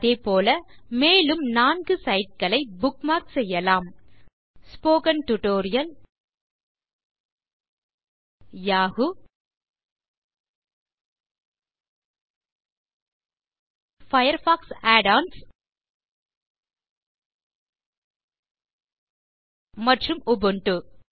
அதேபோல மேலும் நான்கு சைட் களை புக்மார்க் செய்யலாம் ஸ்போக்கன் டியூட்டோரியல் yahooபயர்ஃபாக்ஸ் add ஒன்ஸ் மற்றும் உபுண்டு